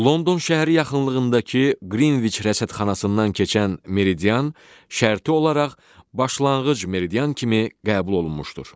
London şəhəri yaxınlığındakı Qrinviç rəsədxanasından keçən meridian şərti olaraq başlanğıc meridian kimi qəbul olunmuşdur.